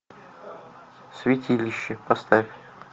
святилище поставь